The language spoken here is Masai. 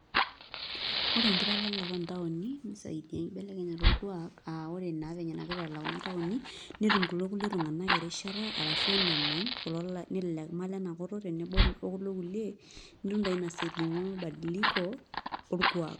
ore enkitalalata oo ntaoni. nisaidia enkibelekenyata orkuaaka aa, ore naa venye nagira aalalau kuna taoni netum kulo kulie tunganak erishata arashu enemany, kulo nelelek leme ilena kutuk, tenebo okulo kulie, nitum taa ina saa ejing'u mabadiliko orkuaak.